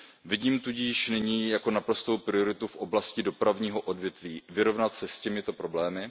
Vidím tudíž nyní jako naprostou prioritu v oblasti dopravního odvětví vyrovnat se s těmito problémy.